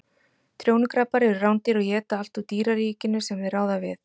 Trjónukrabbar eru rándýr og éta allt úr dýraríkinu sem þeir ráða við.